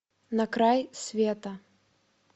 на край света